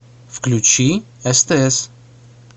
включи стс